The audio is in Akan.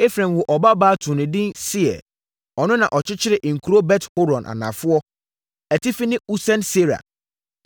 Efraim woo ɔbabaa too no edin Seer. Ɔno na ɔkyekyeree nkuro Bet-Horon Anafoɔ, Atifi ne Usen-Seera.